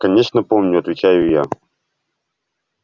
конечно помню отвечаю я